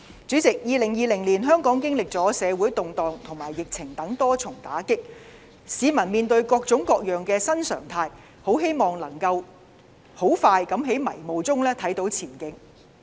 主席，香港在2020年經歷了社會動盪和疫情等多重打擊，市民面對各式各樣的新常態，很希望能夠盡快在迷霧中看到前景。